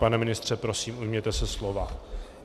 Pane ministře, prosím, ujměte se slova.